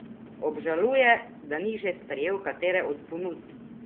Obžaluje, da ni že sprejel katere od ponudb?